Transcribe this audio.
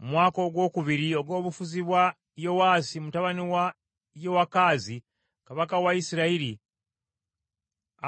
Mu mwaka ogwokubiri ogw’obufuzi bwa Yowaasi mutabani wa Yowakazi kabaka wa Isirayiri,